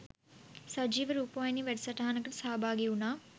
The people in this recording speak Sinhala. සජීව රූපවාහිනී වැඩ සටහනකට සහභාගි වුණා